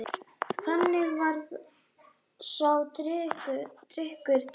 Þannig varð sá drykkur til.